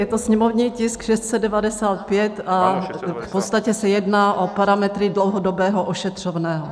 Je to sněmovní tisk 695 a v podstatě se jedná o parametry dlouhodobého ošetřovného.